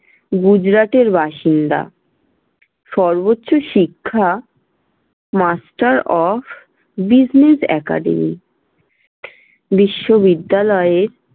গুজরাটের বাসিন্দা। সর্বোচ্চ শিক্ষা master of business academy বিশ্ববিদ্যালয়ের